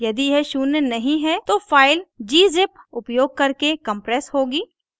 यदि यह शून्य नहीं है तो file gzip उपयोग करके compressed होगी